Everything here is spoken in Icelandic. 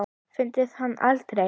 Fundum hann aldrei.